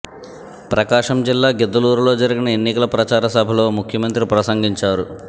ప్రకాశం జిల్లా గిద్దలూరులో జరిగిన ఎన్నికల ప్రచార సభలో ముఖ్యమంత్రి ప్రసంగించారు